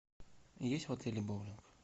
есть в отеле боулинг